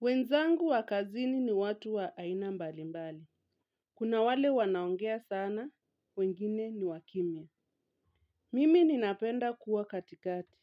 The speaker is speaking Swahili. Wenzangu wa kazini ni watu wa aina mbali mbali. Kuna wale wanaongea sana, wengine ni wakimya. Mimi ninapenda kuwa katikati.